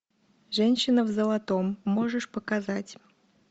женщина в золотом можешь показать